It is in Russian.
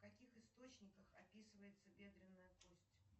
в каких источниках описывается бедренная кость